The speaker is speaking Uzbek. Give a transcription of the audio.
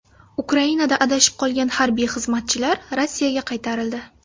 Ukrainada adashib qolgan harbiy xizmatchilar Rossiyaga qaytarildi.